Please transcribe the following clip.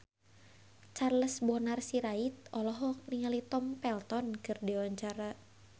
Charles Bonar Sirait olohok ningali Tom Felton keur diwawancara